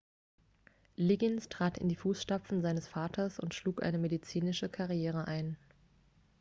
liggins trat in die fußstapfen seines vaters und schlug eine medizinische karriere ein